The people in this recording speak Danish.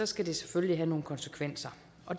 skal det selvfølgelig have nogle konsekvenser